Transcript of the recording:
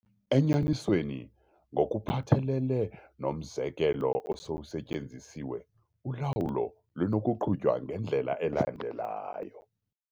Enyanisweni, ngokuphathelele nomzekelo osowusetyenzisiwe, ulawulo lunokuqhutywa ngendlela elandelayo.